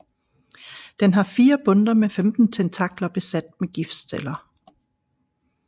Den har fire bundter med 15 tentakler besat med giftceller